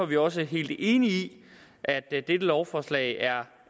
vi også helt enige i at dette lovforslag er